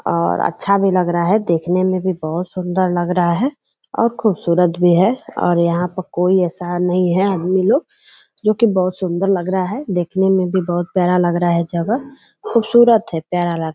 और अच्छा भी लग रहा है देखने में भी बहुत सुंदर लग रहा है और खुबसुरत भी है और यहाँ पे कोई ऐसा नहीं है आदमी लोग जो कि बहुत सुंदर लग रहा है देखने में भी बहुत प्यारा लग रहा है जगह खुबसुरत है प्यारा लग --